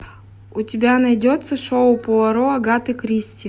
у тебя найдется шоу пуаро агаты кристи